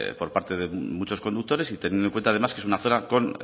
por parte de muchos conductores y teniendo en cuenta además que es una zona